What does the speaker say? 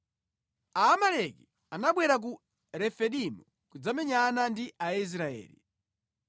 Amaleki anabwera ku Refidimu kudzamenyana ndi Aisraeli.